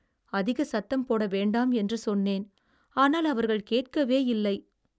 அதிகம் சத்தம் போடவேண்டாம் என்று சொன்னேன், ஆனால் அவர்கள் கேட்கவே இல்லை.